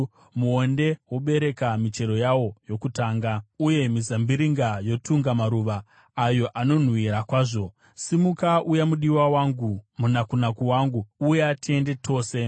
Muonde wobereka michero yawo yokutanga; uye mizambiringa yotunga maruva ayo anonhuhwira kwazvo. Simuka, uya, mudiwa wangu; munakunaku wangu, uya tiende tose.”